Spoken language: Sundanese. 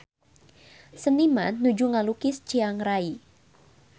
Seniman nuju ngalukis Chiang Rai